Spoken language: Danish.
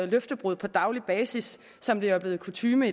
løftebrud på daglig basis som det er blevet kutyme